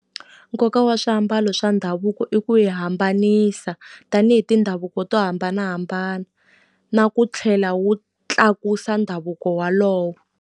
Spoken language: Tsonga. Nkoka wa swiambalo swa ndhavuko i ku hi hambanisa tanihi mindhavuko to hambanahambana, na ku tlhela wu tlakusa ndhavuko walowo.